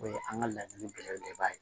O ye an ka laɲini belebeleba ye